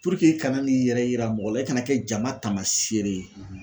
i kana n'i yɛrɛ yira mɔgɔ la i kana kɛ jama taamasiyere ye